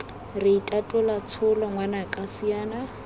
re itatola tsholo ngwanaka siana